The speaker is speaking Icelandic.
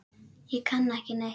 Ég kann ekki neitt.